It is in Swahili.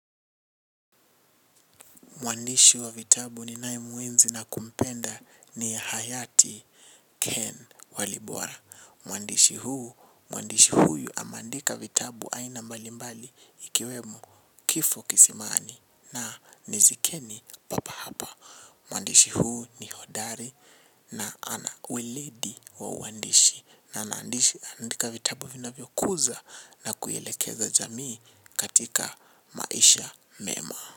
Mwandishi wa vitabu ninayemwenzi na kumpenda ni hayati Ken Walibora mwandishi huu mwandishi huyu ameandika vitabu aina mbalimbali ikiwemo Kifo Kisimani na Nizikeni Papa Hapa. Mwandishi huu ni hodari na ana weledi wa uandishi na anaandishi anaandika vitabu vinavyokuza na kuielekeza jamii katika maisha mema.